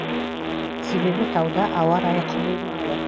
себебі тауда ауа райы құбылмалы